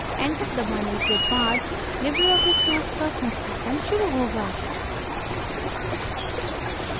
enter दबाने के बाद libreoffice suite का संस्थापन शुरू होगा